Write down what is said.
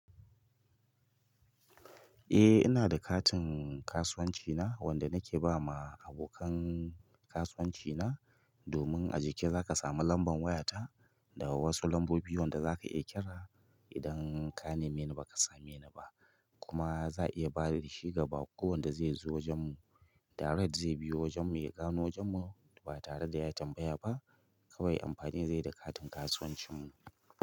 Eh ina da katin kasuwanci na wanda nake ba ma abokan kasuwanci na domin a jiki za ka samu lambar waya ta da wa'yan su lambobi wanda zaka iya kira idan ka nemi na ba ka same ni ba kuma za a iya bada shi ga baƙo wanda zai zo wajen mu direct zai biyo wajen mu ya gano wajen mu ba tare da ya tambaya ba kawai amfani zai yi da katin kasuwancin mu.